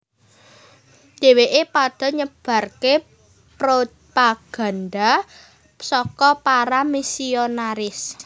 Dheweke padha nyebarke propaganda saka para misionaris